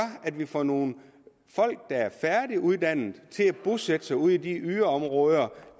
at vi får nogle folk der er færdiguddannede til at bosætte sig ude i de yderområder